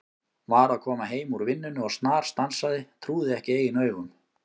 Var að koma heim úr vinnunni og snarstansaði, trúði ekki eigin augum.